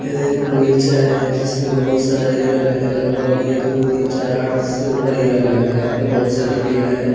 यह एक बगीचा है जिसमें बहुत सारे हिरन हैं लगभग एक दो तीन चार आठ से ऊपर हिरन है यहाँ पर बहुत सारी पेड़ है।